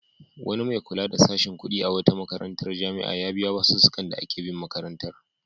Wani mai kula da sashin kuɗi na wata jami'a ya biya basussukan da ake bin makaranta.